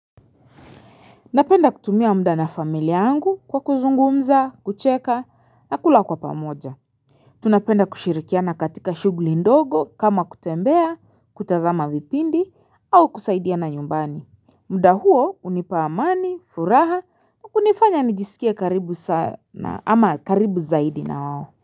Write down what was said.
Napenda kutumia muda na familia yangu kwa kuzungumza, kucheka na kula kwa pamoja. Tunapenda kushirikiana katika shughuli ndogo kama kutembea, kutazama vipindi au kusaidiana nyumbani. Muda huo hunipa amani, furaha na kunifanya nijisikie karibu sana ama karibu zaidi na wao.